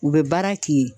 U bɛ baara k'i ye